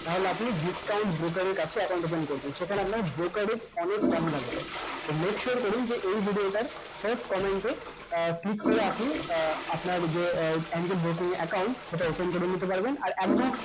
তাহলে আপনি discount broker এর কাছে account open করবেন সেখানে আপনার broker rate অনেক কম লাগবে তো make sure করুন যে এই video টার first comment এ আহ click করে আপনি আহ আপনার যে আহ account সেটা open করে নিতে পারবেন আর একদম